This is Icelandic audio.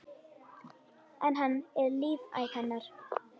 En hann er lífæð hennar.